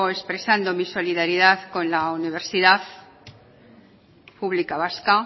expresando mi solidaridad con la universidad pública vasca